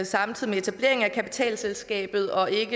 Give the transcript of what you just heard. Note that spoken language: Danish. samtidig med etableringen af selskabet og ikke